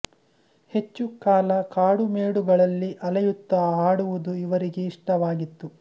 ಹೆಚ್ಚು ಕಾಲ ಕಾಡು ಮೇಡುಗಳಲ್ಲಿ ಅಲೆಯುತ್ತಾ ಹಾಡುವುದು ಇವರಿಗೆ ಇಷ್ಟವಾಗಿತ್ತು